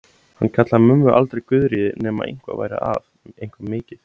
Hann kallaði mömmu aldrei Guðríði nema eitthvað væri að, eitthvað mikið.